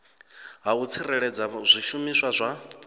ha u tsireledza zwishumiswa zwa